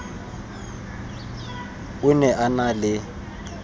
o ne a na le